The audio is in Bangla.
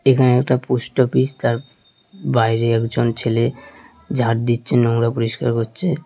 এখানে একটা পোস্ট অফিস তার বাইরে একজন ছেলে ঝাঁট দিচ্ছে নোংরা পরিষ্কার করছে।